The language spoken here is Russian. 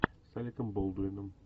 с алеком болдуином